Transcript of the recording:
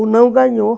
O não ganhou.